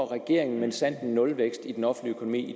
regeringen minsandten nulvækst i den offentlige